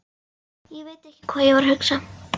Ég veit ekki hvað ég var að hugsa.